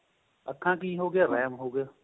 ਅੱਖਾਂ ਕਿ ਹੋਗਿਆ RAM ਹੋਗਿਆਂ